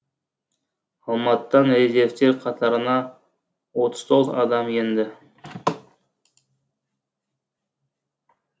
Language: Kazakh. алматыдан резервтер қатарына отыз тоғыз адам енді